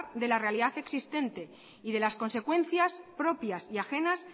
de la realidad existente y de las consecuencias propias y ajenas